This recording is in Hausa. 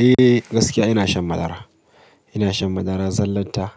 Eh gaskiya ina shan madara. Ina shan madara zallarta,